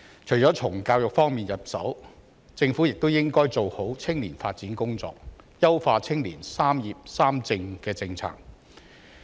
除了從教育方面入手，政府亦應該做好青年發展工作，優化青年"三業三政"政策。